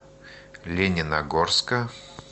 лениногорска